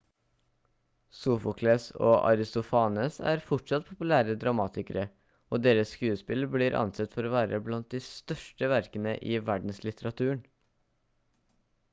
sofokles og aristofanes er fortsatt populære dramatikere og deres skuespill blir ansett for å være blant de største verkene i verdenslitteraturen